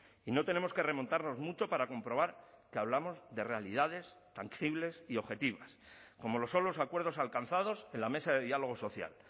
y no tenemos que remontarnos mucho para comprobar que hablamos de realidades tangibles y objetivas como lo son los acuerdos alcanzados en la mesa de diálogo social